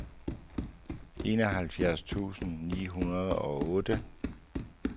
enoghalvfjerds tusind ni hundrede og otte